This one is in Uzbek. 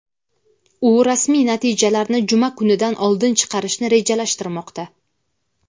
u rasmiy natijalarni juma kunidan oldin chiqarishni rejalashtirmoqda.